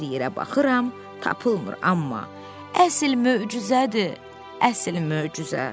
Hər yerə baxıram, tapılmır, amma əsl möcüzədir, əsl möcüzə.